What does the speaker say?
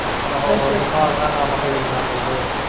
ਹੋ ਹੋ ਹੋ ਦਿਮਾਗ ਨਾ ਕੰਮ ਕ ਲੈਣਾ ਤੂੰ ਕ